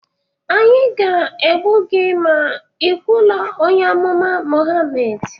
anyị ga-egbu gị ma ị kwuluo onye amụma Mohammed